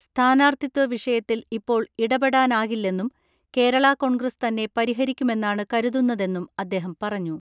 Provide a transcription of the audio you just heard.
സ്ഥാനാർത്ഥിത്വ വിഷയത്തിൽ ഇപ്പോൾ ഇടപെടാനാകില്ലെന്നും കേരള കോൺഗ്രസ് തന്നെ പരിഹരിക്കുമെന്നാണ് കരുതുന്നതെന്നും അദ്ദേഹം പറഞ്ഞു.